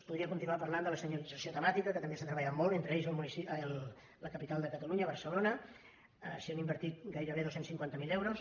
podria continuar parlant de la senyalització temàtica que també s’ha treballat molt entre aquesta a la capital de catalunya barcelona s’hi han invertit gairebé dos cents i cinquanta miler euros